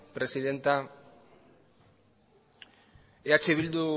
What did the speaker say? presidenta eh bildu